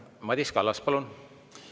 Madis Kallas, palun!